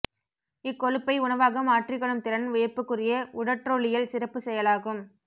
இக்கொழுப்பை உணவாக மாற்றிக் கொள்ளும் திறன் வியப்புக்குரிய உடற்றொலியல் சிறப்புச் செயலாகும்